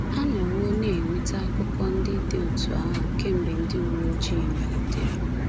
A nọwo na-enweta akụkọ ndị dị otú ahụ kemgbe ndị uwe ojii malitere.